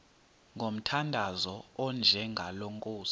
ngomthandazo onjengalo nkosi